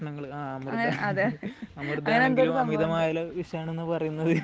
അതെ അമൃത് ആണെങ്കിലും അമിതമായാൽ വിഷമാണെന്ന് പറയുന്നത്